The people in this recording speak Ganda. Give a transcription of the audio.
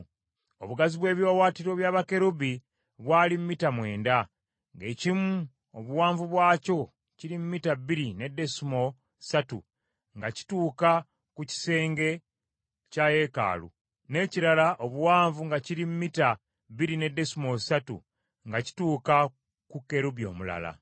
Obugazi bw’ebiwaawaatiro bya bakerubi bwali mita mwenda, ng’ekimu obuwanvu bwakyo kiri mita bbiri ne desimoolo ssatu, nga kituuka ku kisenge kya yeekaalu, n’ekirala obuwanvu nga kiri mita bbiri ne desimoolo ssatu, nga kituuka ku kerubi omulala.